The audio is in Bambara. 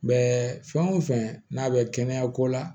Mɛ fɛn o fɛn n'a bɛ kɛnɛya ko la